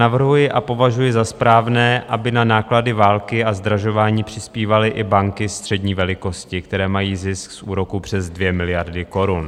Navrhuji a považuji za správné, aby na náklady války a zdražování přispívaly i banky střední velikosti, které mají zisk z úroku přes 2 miliardy korun.